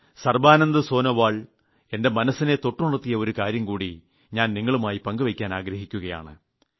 സർബാനന്ദ് സോനോവാൾ എന്റെ മനസിനെ തൊട്ടുണർത്തിയ ഒരു കാര്യം കൂടി ഞാൻ നിങ്ങളുമായി പങ്കുവയ്ക്കാൻ ആഗ്രഹിക്കുകയാണ്